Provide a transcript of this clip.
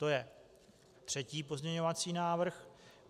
To je třetí pozměňovací návrh.